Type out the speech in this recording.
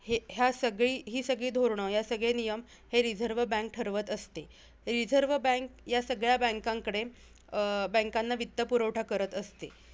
हे ह्या सगळी हि सगळी धोरण ह्या सगळ्या नियम हे रिझर्व बँक ठरवत असते. रिझर्व बँक ह्या सगळ्या banks कडे अं banks ना वित्त पुरवठा करत असते.